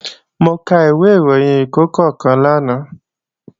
Mo ka ìwé ìròyìn ẹ̀ẹ̀kọ̀kan kan lánàá